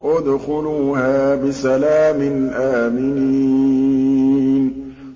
ادْخُلُوهَا بِسَلَامٍ آمِنِينَ